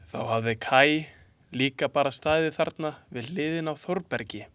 Þá hafi Kaj líka bara staðið þarna við hliðina á Þórbergi.